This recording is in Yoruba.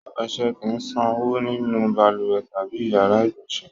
Ọṣẹ kì í ṣànwọ́ nínú balùwẹ̀ tàbí ìyàrá-ìgbọ̀nsẹ̀.